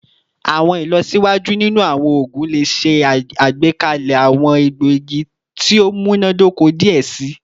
Awọn ilọsiwaju ninu awọn oogun le ṣe agbekalẹ awọn egboogi ti o munadoko diẹ sii